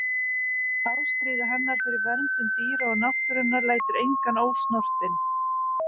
Ástríða hennar fyrir verndun dýra og náttúrunnar lætur engan ósnortinn.